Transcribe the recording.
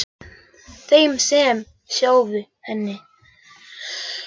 Þeim sem sváfu hjá henni, áður en ég kynntist henni.